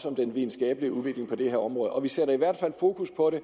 om den videnskabelige udvikling på det her område vi sætter i hvert fald fokus på det